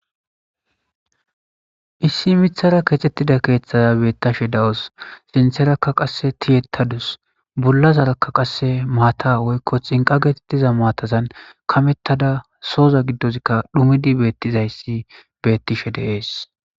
issi mithara keexettida keeththaza beettashe dawus sintherakka qasse tiyettadus bullazarakka qasse maata woykko xinqa geetettiza maatazan kamettada sooza giddozkka dhumidi beettizayssi bettishe deees